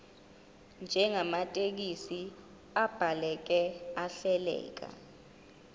njengamathekisthi abhaleke ahleleka